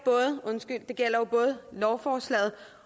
både lovforslaget